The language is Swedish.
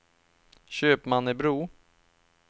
Köpmannebro